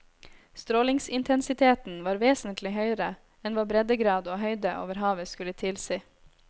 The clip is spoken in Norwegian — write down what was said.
Strålingsintensiteten var vesentlig høyere enn hva breddegrad og høyde over havet skulle tilsi.